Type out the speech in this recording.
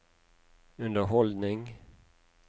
underholdning